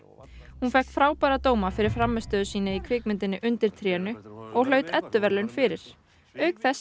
hún fékk frábæra dóma fyrir frammistöðu sína í kvikmyndinni undir trénu og hlaut Eddu verðlaun fyrir auk þess